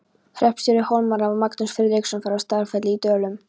Hreppstjóri Hólmara var Magnús Friðriksson frá Staðarfelli í Dölum.